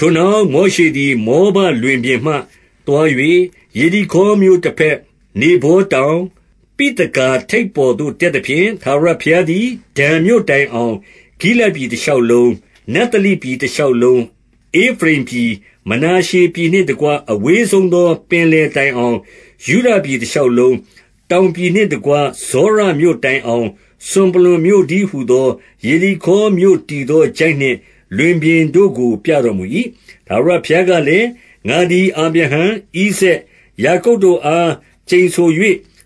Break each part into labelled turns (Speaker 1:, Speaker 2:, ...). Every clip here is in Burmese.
Speaker 1: ထိုနောက်၊ မောရှေသည် မောဘလွင်ပြင်မှ သွား၍ ယေရိခေါမြို့တဘက်၊ နေဗောတောင်၊ ပိသဂါထိပ် ပေါ်သို့ တက်သဖြင့်၊ ထာဝရဘုရားသည် ဒန်မြို့တိုင် အောင်၊ ဂိလဒ်ပြည် တရှောက်လုံး၊ 2 နဿလိပြည် တရှောက်လုံး၊ ဧဖရိမ်ပြည်၊ မနာ ရှေပြည်နှင့်တကွ အဝေးဆုံးသော ပင်လယ်တိုင်အောင်၊ ယုဒပြည်တရှောက်လုံး၊ 3 တောင်ပြည်နှင့်တကွ ဇောရမြို့တိုင်အောင် စွန်ပလွံမြို့တည်းဟူသော ယေရိခေါမြို့တည်သော ချိုင့် နှင့် လွင်ပြင်တို့ကို ပြတော်မူ၏။ 4 ထာဝရဘုရားကလည်း၊ ငါသည် အာဗြဟံ၊ ဣဇာက်၊ ယာကုပ်တို့အား ကျိန်ဆို၍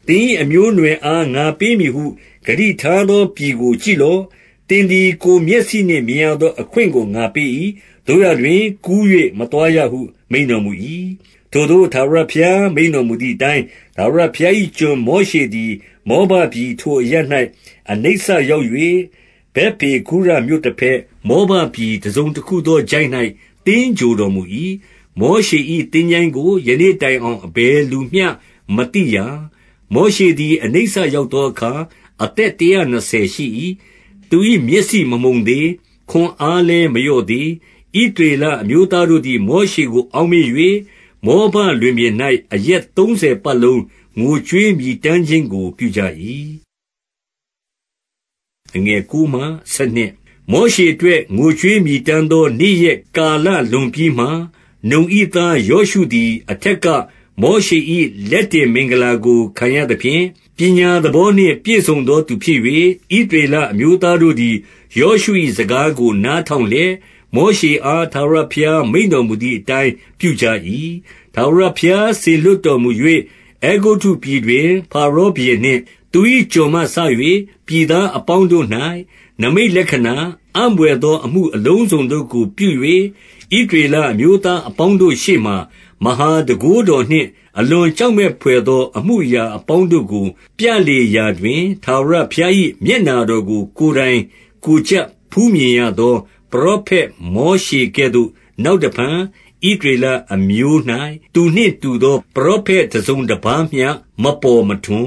Speaker 1: သင်၏အမျိုးအနွယ် အား ငါပေးမည်ဟု ဂတိထားသောပြည်ကို ကြည့်လော့။ သင်သည် ကိုယ်မျက်စိနှင့်မြင်ရသော အခွင့်ကို ငါပေး၏။ သို့ရာတွင် ကူး၍မသွားရဟု မိန့်တော်မူ၏။ 5 ထာဝရဘုရားကလည်း၊ ငါသည် အာဗြဟံ၊ ဣဇာက်၊ ယာကုပ်တို့အား ကျိန်ဆို၍ သင်၏အမျိုးအနွယ် အား ငါပေးမည်ဟု ဂတိထားသောပြည်ကို ကြည့်လော့။ သင်သည် ကိုယ်မျက်စိနှင့်မြင်ရသော အခွင့်ကို ငါပေး၏။ သို့ရာတွင် ကူး၍မသွားရဟု မိန့်တော်မူ၏။ 6 ဗက်ပေဂုရမြို့တဘက်၊ မောဘပြည်၊ တစုံတခု သောချိုင့်၌ သင်္ဂြိုဟ်တော်မူ၏။ မောရှေ၏ သင်္ချိုင်းကို ယနေ့တိုင်အောင် အဘယ်လူမျှမသိရာ။ 7 မောရှေသည် အနိစ္စရောက်သောအခါ အသက် တရာနှစ်ဆယ်ရှိ၏။ သူ၏မျက်စိမမှုန်သေး။ ခွန်အား လည်း မလျော့သေး။ 8 ဣသရေလအမျိုးသားတို့သည် မောရှေကို အောက်မေ့၍၊ မောဘလွင်ပြင်၌ အရက်သုံးဆယ်ပတ်လုံး ငိုကြွေးမြည်တမ်းခြင်းကို ပြုကြ၏။ 9 မောရှေအတွက် ငိုကြွေးမြည်တမ်းသော နေ့ ရက်ကာလလွန်ပြီးမှ၊ နုန်၏သား ယောရှုသည် အထက်က မောရှေ၏ လက်တင်မင်္ဂလာကို ခံရသဖြင့်၊ ပညာသဘော နှင့် ပြည့်စုံသောသူဖြစ်၍၊ ဣသရေလအမျိုးသားတို့သည် ယောရှု၏စကားကို နားထောင်လျက်၊ မောရှေအား ထာဝရဘုရား မိန့်တော်မူသည်အတိုင်း ပြုကြ၏။ 10 ထာဝရဘုရားစေလွှတ်တော်မူ၍၊ အဲဂုတ္တုပြည် တွင် ဖါရောဘုရင်နှင့် သူ၏ကျွန်မှစ၍ ပြည်သားအပေါင်း တို့၌ နိမိတ်လက္ခဏာ၊ အံ့ဘွယ်သောအမှု အလုံးစုံတို့ကို ပြု၍၊ ဣသရေလအမျိုးသားအပေါင်းတို့ရှေ့မှာ မဟာ တန်ခိုးတော်နှင့် အလွန်ကြောက်မက်ဘွယ်သော အမှု အရာအပေါင်းတို့ကို ပြလေရာတွင်၊ ထာဝရဘုရား၏ မျက်နှာတော်ကို ကိုယ်တိုင်ကိုယ်ကြပ် ဖူးမြင်ရသော ပရောဖက်မောရှေကဲ့သို့ နောက်တဖန် ဣသရေလအမျိုး ၌ သူနှင့်တူသော ပရောဖက်တစုံတပါးမျှ မပေါ်မထွန်